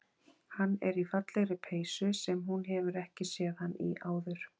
Hann er í fallegri peysu sem hún hefur ekki séð hann í áður.